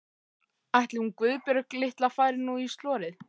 Ætli hún Guðbjörg litla fari nú í slorið.